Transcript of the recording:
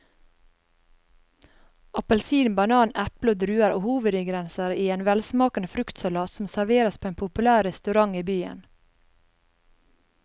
Appelsin, banan, eple og druer er hovedingredienser i en velsmakende fruktsalat som serveres på en populær restaurant i byen.